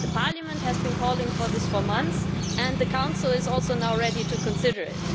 Parliament has been calling for this for months and the Council is also now ready to consider it.